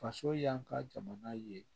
Faso y'an ka jamana ye